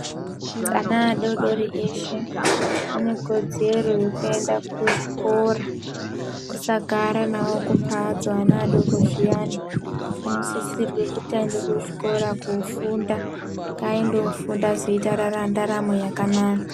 Ana adodori eshe ane kodzero yekuenda ku chikora tisagara nawo ku mbatso ana adoko zviyani ano sisirwe kuti ayende ku chikora kofunda ayende kofunda ozoite ndaramo yakanaka.